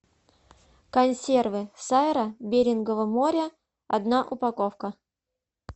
консервы сайра берингово море одна упаковка